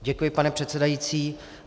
Děkuji, pane předsedající.